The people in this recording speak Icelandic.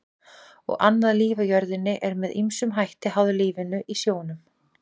Og annað líf á jörðinni er með ýmsum hætti háð lífinu í sjónum.